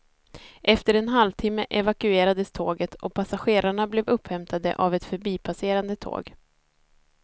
Efter en halvtimme evakuerades tåget och passagerarna blev upphämtade av ett förbipasserande tåg.